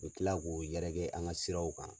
U bɛ tila k'o yɛrɛkɛ an ka siraw kan.